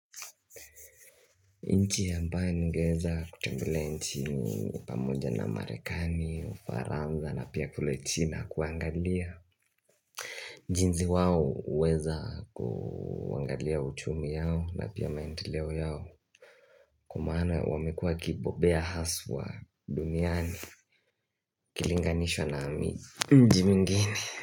Nchi ambayo ningeweza kutembelea nchini pamoja na Marekani, Ufaranza na pia kule China kuangalia jinsi wao huweza kuangalia uchumi yao na pia maendeleo yao Kwa maana wamekuwa wakibobea haswa duniani ukilinganishwa na mi mji mwingine.